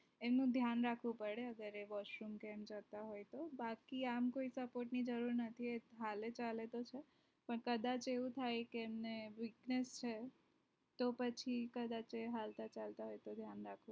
એનું ધ્યાન રાખવું પડે અગર એ washroom કે એમ જતા હોય તો બાકી આમતો કોઈ support જરૂર નથી હાલે ચાલે તો sir પણ કદાચ એવું થાય તો કે એમને weakness છે તો પછી કદાચ એ હાલતા ચાલતા હોય તો ધ્યાન રાખવું